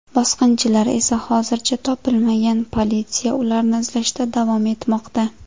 Bosqinchilar esa hozircha topilmagan, politsiya ularni izlashda davom etmoqda.